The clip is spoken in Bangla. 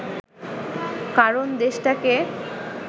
কারণ দেশটাকে